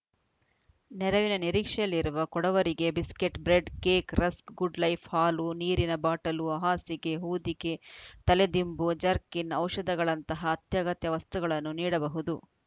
ನೆರವಿನ ನಿರೀಕ್ಷೆಯಲ್ಲಿರುವ ಕೊಡವರಿಗೆ biscuit bread cake rusk Goodlife ಹಾಲು ನೀರಿನ ಬಾಟಲು ಹಾಸಿಗೆ ಹೊದಿಕೆ ತಲೆ ದಿಂಬು ಜರ್ಕಿನ್‌ ಔಷಧಗಳಂತಹ ಅತ್ಯಗತ್ಯ ವಸ್ತುಗಳನ್ನು ನೀಡಬಹುದು